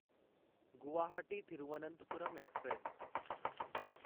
Guwahati Thiruvananthapuram express